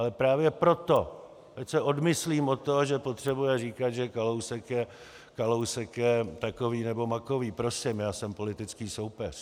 Ale právě proto - ať se odmyslím od toho, že potřebuje říkat, že Kalousek je takový nebo makový, prosím, já jsem politický soupeř.